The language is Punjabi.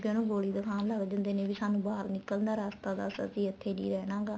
ਗੋਲੀ ਦਿਖਾਣ ਲੱਗ ਜਾਂਦੇ ਨੇ ਵੀ ਸਾਨੂੰ ਬਾਹਰ ਨਿੱਕਲਣ ਦਾ ਰਾਸਤਾ ਦੱਸ ਅਸੀਂ ਇੱਥੇ ਨਹੀਂ ਰਹਿਣਾ ਗਾ